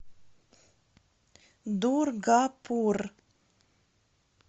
дургапур